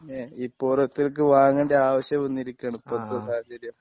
ഇപ്പൊ ഓരോരുത്തർക്ക് വാങ്ങേണ്ട ആവശ്യം വന്നിരിക്കുകയാണ് ഇപ്പത്തെ സാഹചര്യം